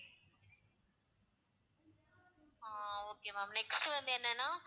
ஆஹ் okay ma'am next வந்து என்னனா